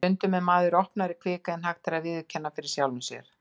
Og stundum er maður opnari kvika en hægt er að viðurkenna fyrir sjálfum sér.